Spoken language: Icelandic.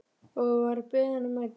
Og var beðinn að mæta.